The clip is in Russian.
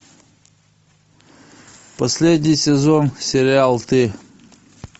последний сезон сериал ты